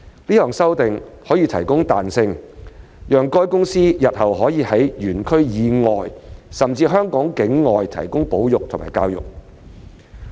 這項修訂可提供彈性，讓海洋公園公司日後可在園區以外甚至香港境外進行保育和教育工作。